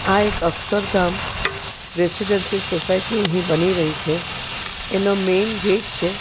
આ એક Akshardham residency society અહીં બની રહી છે એનો મૈન ગેટ છે.